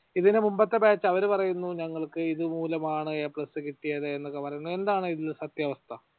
ഇതിനുമുമ്പത്തെ batch അവർ പറയുന്നു ഞങ്ങൾക്ക് ഇതുമൂലം ആണ് A plus കിട്ടിയത് എന്നൊക്കെ പറയുന്നു. എന്താണ് ഇതിൽ സത്യാവസ്ഥ